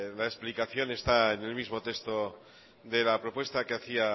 la explicación está en el mismo texto de la propuesta que hacía